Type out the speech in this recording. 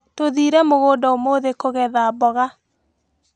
Tũthire mgunda ũmũthĩ kũgetha mboga.